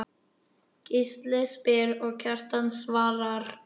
Gísli spyr og Kjartan svarar